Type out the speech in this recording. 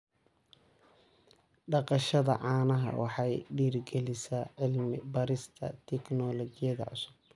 Dhaqashada caanaha waxay dhiirigelisaa cilmi baarista tignoolajiyada cusub.